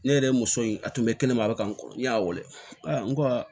Ne yɛrɛ muso in a tun bɛ kɛnɛma a bɛ ka nɔgɔn n y'a weele n ko aa